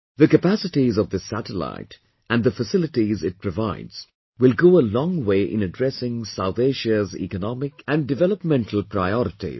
The capacities of this satellite and the facilities it provides will go a long way in addressing South Asia's economic and developmental priorities